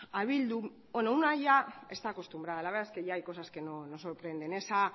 a bildu bueno una ya está acostumbrada la verdad que ya hay cosas que no sorprende esa